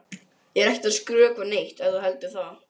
Ég er ekkert að skrökva neitt ef þú heldur það.